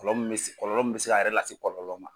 Kɔlɔlɔ min bɛ se kɔlɔlɔ. min bɛ se k'a yɛrɛ lase kɔlɔlɔ ma